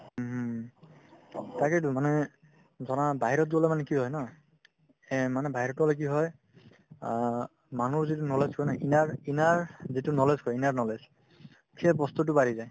উম হুম তাকেতো মানে জনাত বাহিৰত গ'লে মানে কি হয় ন এহ্ মানে বাহিৰত গ'লে কি হয় অ মানুহৰ যিটো knowledge কই ন inner inner যিটো knowledge কই inner knowledge সেই বস্তুতো বাঢ়ি যায়